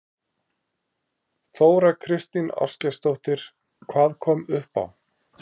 Þóra Kristín Ásgeirsdóttir: Hvað kom upp á?